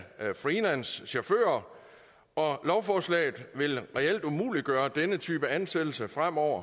freelancechauffører og lovforslaget vil reelt umuliggøre denne type ansættelse fremover